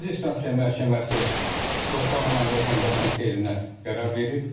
Birinci instansiya məhkəməsi torpaq alan vətəndaşın xeyrinə qərar verib.